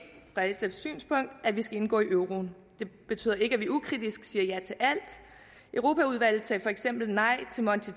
at vi skal indgå i euroen det betyder ikke at vi ukritisk siger ja til alt europaudvalget sagde for eksempel nej til monti